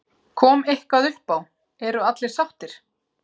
Kom eitthvað uppá, eru allir sáttir?